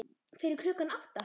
Fyrir klukkan átta?